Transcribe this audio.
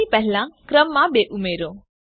નામની પહેલા ક્રમાંક 2 ઉમેરો